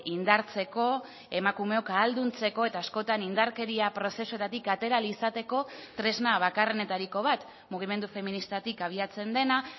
indartzeko emakumeok ahalduntzeko eta askotan indarkeria prozesuetatik atera ahal izateko tresna bakarrenetariko bat mugimendu feministatik abiatzen dena